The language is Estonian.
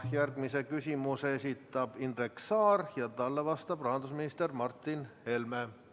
Järgmise küsimuse esitab Indrek Saar ja talle vastab rahandusminister Martin Helme.